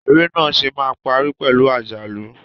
Eré náà ṣe máa parí pẹ̀lú àjálù.